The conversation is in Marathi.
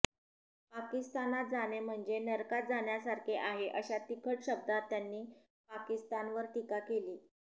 पाकिस्तानात जाणे म्हणजे नरकात जाण्यासारखे आहे अशा तिखट शब्दात त्यांनी पाकिस्तावर टीका केली